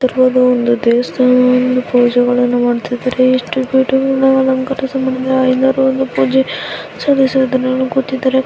ದೇವಸ್ಥಾನದಲ್ಲಿ ಒಂದು ಪೂಜೆಗಳನ್ನು ಮಾಡ್ತಾ ಇದ್ದಾರೆ ಎಷ್ಟು ಬ್ಯೂಟಿಫುಲ್ ಆಗಿ ಅಲಂಕರಿಸಿದ್ದಾರೆ ಪೂಜೆ---